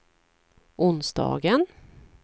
onsdagen